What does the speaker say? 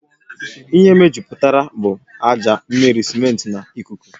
Ihe mejupụtara bụ ájá, mmiri, simenti na ikuku